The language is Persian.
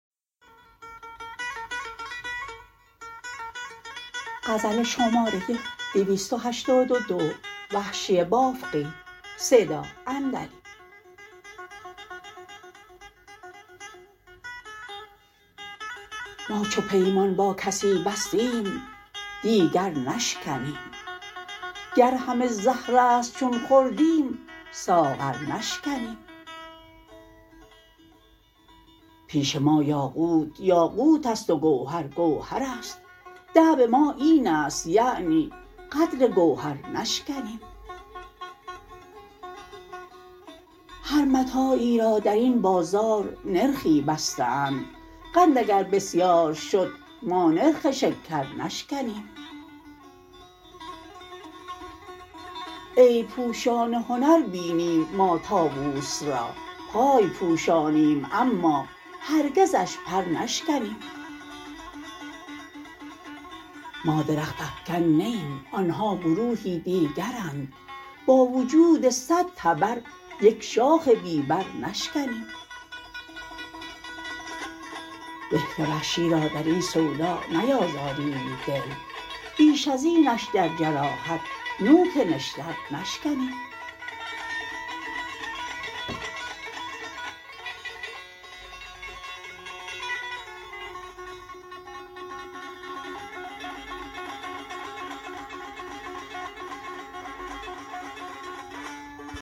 ما چو پیمان با کسی بستیم دیگر نشکنیم گر همه زهرست چون خوردیم ساغر نشکنیم پیش ما یاقوت یاقوتست و گوهر گوهر است دأب ما اینست یعنی قدر گوهر نشکنیم هر متاعی را در این بازار نرخی بسته اند قند اگر بسیار شد ما نرخ شکر نشکنیم عیب پوشان هنر بینیم ما طاووس را پای پوشانیم اما هرگزش پر نشکنیم ما درخت افکن نه ایم آنها گروهی دیگرند با وجود صد تبر یک شاخ بی بر نشکنیم به که وحشی را در این سودا نیازاریم دل بیش از اینش در جراحت نوک نشتر نشکنیم